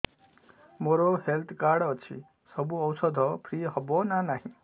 ମୋର health card ଅଛି ସବୁ ଔଷଧ ଫ୍ରି ହବ ନା ନାହିଁ